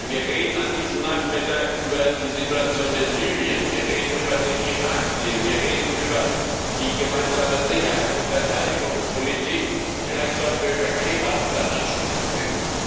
Denn wir reden an diesem Nachmittag über die Situation in Libyen, wir reden über den Irak Deal, wir reden über die gemeinsame Sicherheits und Verteidigungspolitik, und vielleicht sollten wir über Kebab dann anschließend reden.